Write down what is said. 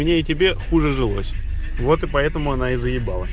мне и тебе хуже жилось вот по этому она и заебала